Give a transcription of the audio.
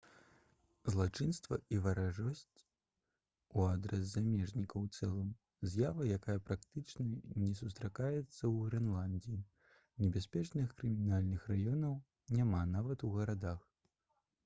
злачынствы і варожасць у адрас замежнікаў у цэлым з'ява якая практычна не сустракаецца ў грэнландыі небяспечных крымінальных раёнаў няма нават у гарадах